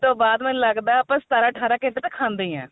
ਤੋਂ ਬਾਅਦ ਮੈਨੂੰ ਲੱਗਦਾ ਸਤਾਰਾਂ ਅਠਾਰਾ ਘੰਟੇ ਤਾਂ ਖਾਂਦੇ ਈ ਆਂ